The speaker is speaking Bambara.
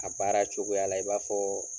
A baara cogoya la i b'a fɔɔ